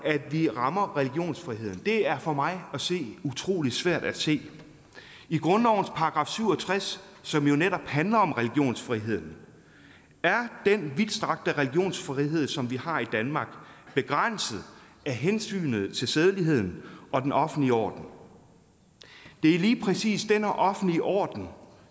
at vi rammer religionsfriheden det er for mig utrolig svært at se i grundlovens § syv og tres som jo netop handler om religionsfrihed er den vidtstrakte religionsfrihed som vi har i danmark begrænset af hensynet til sædeligheden og den offentlige orden det er lige præcis denne offentlige orden